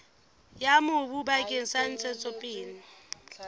ya mobu bakeng sa ntshetsopele